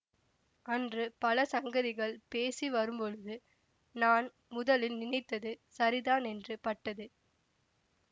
அன்று பல சங்கதிகள் பேசி வரும்பொழுது நான் முதலில் நினைத்தது சரிதான் என்று பட்டது